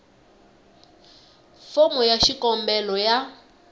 fomo ya xikombelo ya